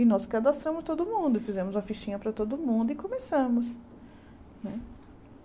E nós cadastramos todo mundo, fizemos a fichinha para todo mundo e começamos né.